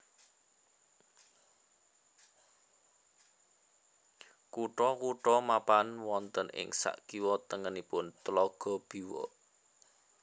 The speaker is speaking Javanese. Kutha kutha mapan wonten ing sakiwa tengenipun Tlaga Biwa